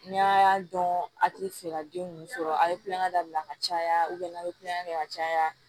N'a y'a dɔn a ti fɛ ka den ninnu sɔrɔ a ye kulonkɛ dabila ka caya n'a ye kulonkɛ kɛ ka caya